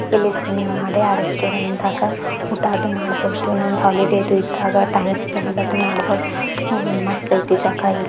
ಇಲ್ಲಿ ಸ್ವಿಮ್ಮಿಂಗ್ ಮಾಡಿ ಆ ರೆಸ್ಟೋರೆಂಟ್ ದಾಗ ಊಟಾದು ಮಾಡಬಹುದು ನಮದ ಹಾಲಿಡೇದು ಇದಾಗ ಟೈಮ್ ಸ್ಪೆಂಡ್ ಮಾಡಬಹುದು ಮಸ್ತ್ ಯೇತಿ ಜಾಗ ಇದು.